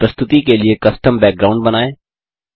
अपनी प्रस्तुति के लिए कस्टम बैकग्राउंड बनाएँ